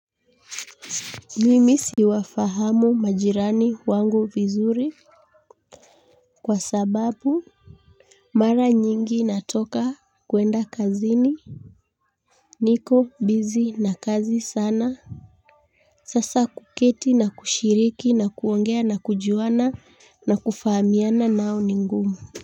Mimi siwafahamu majirani wangu vizuri kwa sababu mara nyingi natoka, kwenda kazini. Niko busy na kazi sana. Sasa kuketi, na kushiriki, na kuongea, na kujuana, na kufahamiana nao ni ngumu.